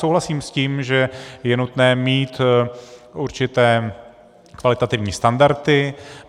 Souhlasím s tím, že je nutné mít určité kvalitativní standardy.